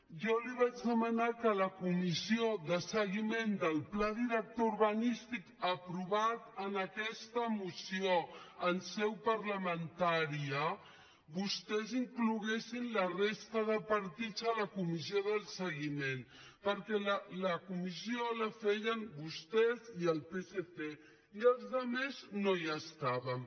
jo li vaig demanar que a la comissió de segui·ment del pla director urbanístic aprovat en aquesta moció en seu parlamentària vostès incloguessin la res·ta de partits a la comissió de seguiment perquè la co·missió la feien vostès i el psc i els altres no hi érem